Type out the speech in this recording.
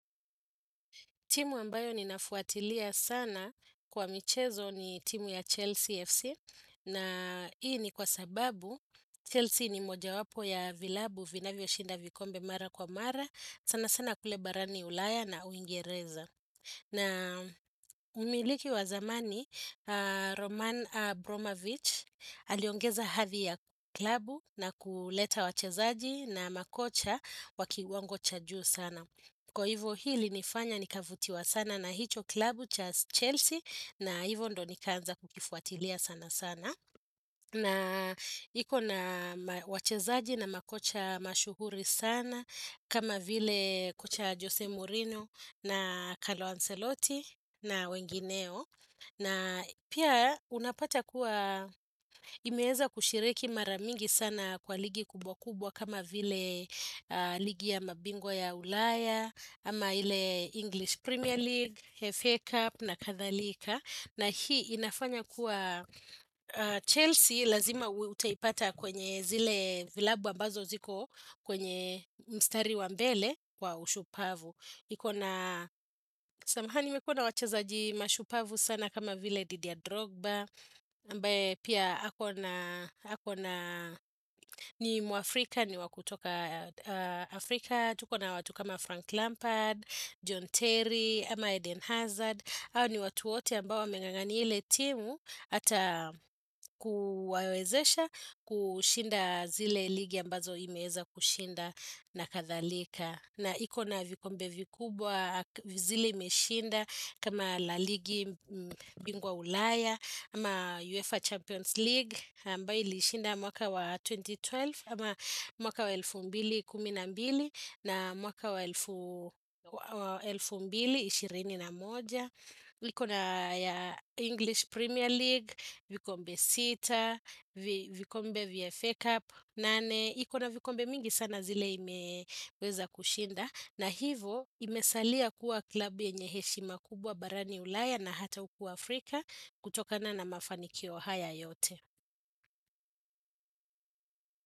Timu ambayo ninafuatilia sana kwa michezo ni timu ya Chelsea FC na hii ni kwa sababu Chelsea ni mojawapo ya vilabu vinavyoshinda vikombe mara kwa mara sana sana kule barani ulaya na uingereza. Na umiliki wa zamani, Roman Abramovich aliongeza hati ya klabu na kuleta wachezaji na makocha wa kiwango cha juu sana. Kwa hivyo hii ilinifanya nikavutiwa sana na hicho klabu cha Chelsea na hivyo ndio nikaanza kukifuatilia sana sana. Na iko na wachezaji na makocha mashuhuri sana, kama vile kocha Jose Mourinho na Calo Ancelotti na wengineo. Na pia unapata kuwa imeweza kushiriki mara mingi sana kwa ligi kubwa kubwa kama vile ligi ya mabingwa ya ulaya, ama ile English Premier League, FA Cup na kadhalika na hii inafanya kuwa Chelsea lazima utaipata kwenye zile vilabu ambazo ziko kwenye mstari wa mbele kwa ushupavu Samahani imekua na wachezaji mashupavu sana kama vile Didier Drogba ambaye pia ako na ni muafrika ni wa kutoka Afrika tuko na watu kama Frank Lampard, John Terry, ama Eden Hazard hao ni watu wote ambao wameng'ang'ania ile timu Hata kuwawezesha kushinda zile ligi ambazo imeweza kushinda na kadhalika na iko na vikombe vikubwa zile imeshinda kama la ligi bingwa ulaya ama UEFA Champions League ambayo ilishinda mwaka wa 2012 ama mwaka wa elfu mbili kumi na mbili na mwaka wa elfu mbili ishirini na moja iko na ya English Premier League, vikombe sita, vikombe vya FA Cup, nane iko na vikombe mingi sana zile imeweza kushinda na hivo imesalia kuwa klabi yenye heshima kubwa barani ulaya na hata huku Afrika kutokana na mafanikio haya yote.